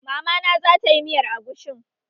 Mama na zatayi miyar agushin